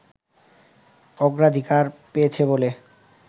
অগ্রাধিকার পেয়েছে বলে